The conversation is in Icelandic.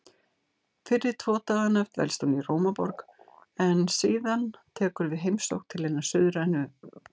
Fyrri tvo dagana dvelst hún í Rómaborg en síðan tekur við heimsókn til hinnar suðrænu